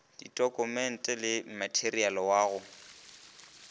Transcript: ditokumente le materiale wa go